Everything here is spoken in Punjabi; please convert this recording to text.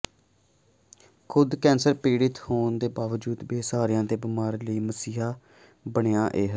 ਖੁਦ ਕੈਂਸਰ ਪੀੜਤ ਹੋਣ ਦੇ ਬਾਵਜੂਦ ਬੇਸਹਾਰਿਆਂ ਤੇ ਬਿਮਾਰਾਂ ਲਈ ਮਸੀਹਾ ਬਣਿਆ ਇਹ